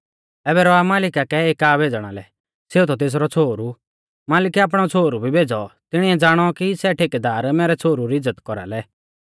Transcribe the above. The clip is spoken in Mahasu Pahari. ऐबै रौआ मालिका कै एका भेज़णा लै सेऊ थौ तेसरौ छ़ोहरु मालिकै आपणौ छ़ोहरु भी भेज़ौ तिणिऐ ज़ाणौ कि सै ठेकेदार मैरै छ़ोहरु री इज़्ज़त कौरालै